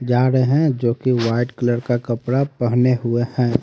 जा रहे हैं जो की वाइट कलर का कपड़ा पहने हुए हैं।